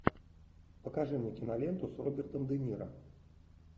покажи мне киноленту с робертом де ниро